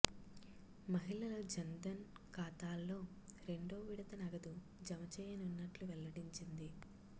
మహిళల జన్ధన్ ఖాతాల్లో రెండో విడత నగదు జమ చేయనున్నట్లు వెల్లడించింది